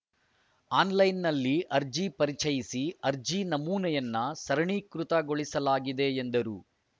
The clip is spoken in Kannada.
ಅನ್‌ಲೈನ್‌ನಲ್ಲಿ ಅರ್ಜಿ ಪರಿಚಯಿಸಿ ಅರ್ಜಿ ನಮೂನೆಯನ್ನು ಸರಣೀ ಕೃತಗೊಳಿಸಲಾಗಿದೆ ಎಂದರು